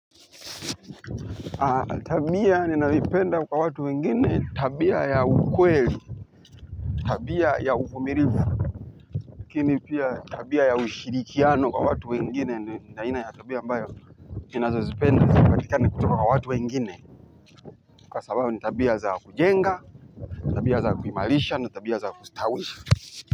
Tabia ninayoipenda kwa watu wengine tabia ya ukweli tabia ya uvumilivu lakini pia tabia ya ushirikiano wa watu wengine ni aina ya tabia ambayo ninazozipenda zipatikane kutoka kwa watu wengine kwa sababu ni tabia za kujenga tabia za kuimarisha na tabia za kustawisha.